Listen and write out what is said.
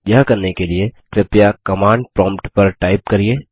यह करने के लिए कृपया कमांड प्रॉम्प्ट पर टाइप करिये